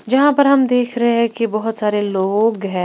जहां पर हम देख रहे हैं कि बहुत सारे लोग हैं।